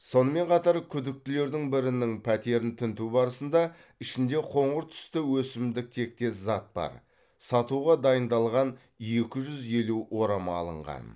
сонымен қатар күдіктілердің бірінің пәтерін тінту барысында ішінде қоңыр түсті өсімдік тектес зат бар сатуға дайындалған екі жүз елу орама алынған